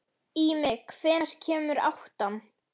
Ími, hvenær kemur áttan?